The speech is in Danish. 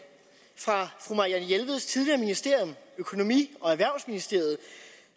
fra fru marianne jelveds tidligere ministerium økonomi og erhvervsministeriet